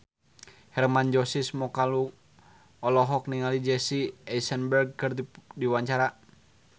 Hermann Josis Mokalu olohok ningali Jesse Eisenberg keur diwawancara